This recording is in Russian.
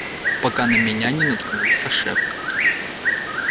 пока на меня не наткнулся шеф